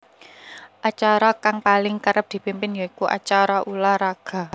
Acara kang paling kerep dipimpin ya iku acara ulah raga